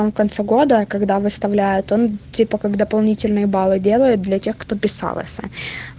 он в конце года когда выставляют он типа как дополнительные баллы делает для тех кто писалася